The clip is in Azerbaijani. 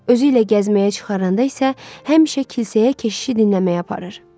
Özü ilə gəzməyə çıxaranda isə həmişə kilsəyə keşişi dinləməyə aparır.